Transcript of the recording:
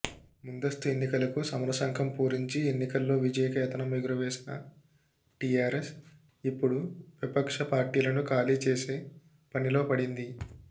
ముందస్తు ఎన్నికలకు సమరశంఖం పూరించి ఎన్నికల్లో విజయకేతనం ఎగురవేసిన టీఆర్ఎస్ ఇప్పుడు విపక్ష పార్టీలను ఖాళీ చేసే పనిలో పడింది